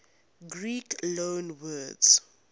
greek loanwords